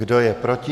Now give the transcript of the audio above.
Kdo je proti?